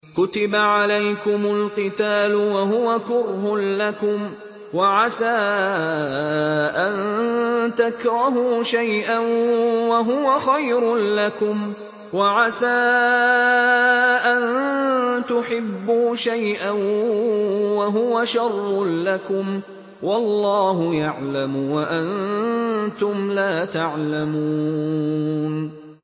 كُتِبَ عَلَيْكُمُ الْقِتَالُ وَهُوَ كُرْهٌ لَّكُمْ ۖ وَعَسَىٰ أَن تَكْرَهُوا شَيْئًا وَهُوَ خَيْرٌ لَّكُمْ ۖ وَعَسَىٰ أَن تُحِبُّوا شَيْئًا وَهُوَ شَرٌّ لَّكُمْ ۗ وَاللَّهُ يَعْلَمُ وَأَنتُمْ لَا تَعْلَمُونَ